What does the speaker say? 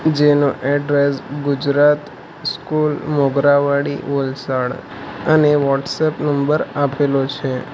જેનું address Gujarat school Mogarawadi Valsad અને WhatsApp number આપેલો છે.